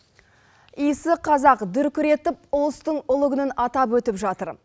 иісі қазақ дүркіретіп ұлыстың ұлы күнін атап өтіп жатыр